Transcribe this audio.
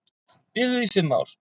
Biðu í fimm ár